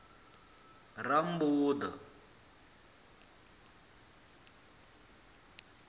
rammbuḓa